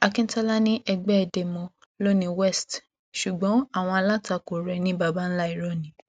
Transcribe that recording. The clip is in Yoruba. akíntola ni ẹgbẹ demo lọ ní west ṣùgbọn àwọn alátakò rẹ ní babańlá irọ ni